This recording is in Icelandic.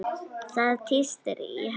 Það tístir í henni.